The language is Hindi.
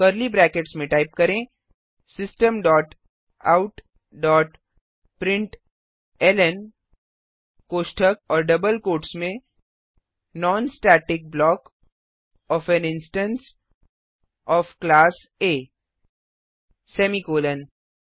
कर्ली ब्रैकेट्स में टाइप करें system dot out dot println कोष्ठक और डबल कोठ्स में non static block of an instance of class A semicolon